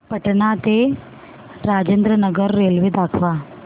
पटणा ते राजेंद्र नगर रेल्वे दाखवा